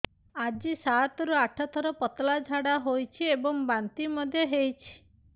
ଆଜି ସାତରୁ ଆଠ ଥର ପତଳା ଝାଡ଼ା ହୋଇଛି ଏବଂ ବାନ୍ତି ମଧ୍ୟ ହେଇଛି